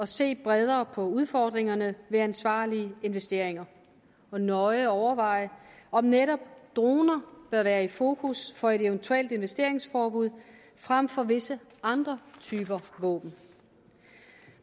se bredere på udfordringerne ved ansvarlige investeringer og nøje overveje om netop droner bør være i fokus for et eventuelt investeringsforbud frem for visse andre typer våben